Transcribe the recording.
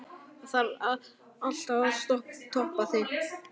Þarf alltaf að toppa sig?